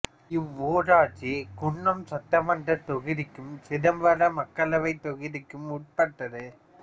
இவ்வூராட்சி குன்னம் சட்டமன்றத் தொகுதிக்கும் சிதம்பரம் மக்களவைத் தொகுதிக்கும் உட்பட்டது